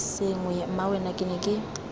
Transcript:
sengwe mmawena ke ne ke